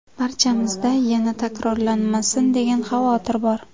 Barchamizda ‘yana takrorlanmasin’ degan xavotir bor.